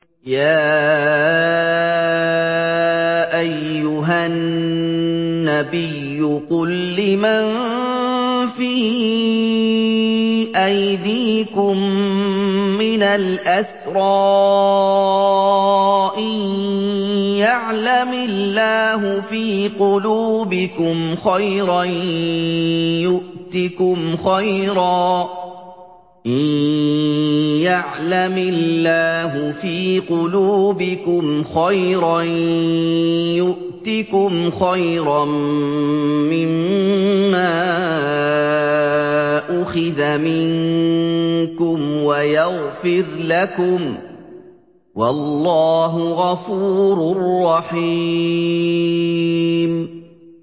يَا أَيُّهَا النَّبِيُّ قُل لِّمَن فِي أَيْدِيكُم مِّنَ الْأَسْرَىٰ إِن يَعْلَمِ اللَّهُ فِي قُلُوبِكُمْ خَيْرًا يُؤْتِكُمْ خَيْرًا مِّمَّا أُخِذَ مِنكُمْ وَيَغْفِرْ لَكُمْ ۗ وَاللَّهُ غَفُورٌ رَّحِيمٌ